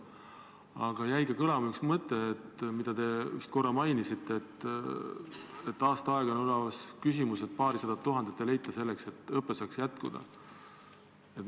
Teie ettekandest jäi kõlama üks mõte: te märkisite, et aasta aega on üleval olnud küsimus, et ei leita paarisadat tuhandet eurot, et õpe Viljandis saaks jätkuda.